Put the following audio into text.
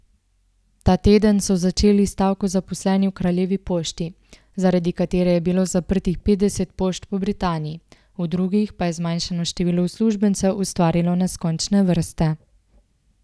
Ta teden so začeli stavko zaposleni v Kraljevi pošti, zaradi katere je bilo zaprtih petdeset pošt po Britaniji, v drugih pa je zmanjšano število uslužbencev ustvarilo neskončne vrste.